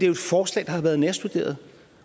jo et forslag der har været nærstuderet